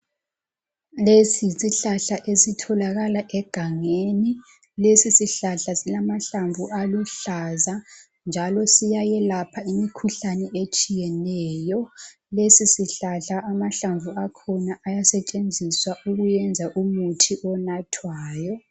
Lesi yisihlahla esitholakala egangeni. Lesisihlahla, silamahlamvu aluhlaza, njalo siyayelapha imikhuhlane etshiyeneyo. Lesisihlahla amahlamvu akhona ayasetshenziswa ukwenza umuthi onathwayo.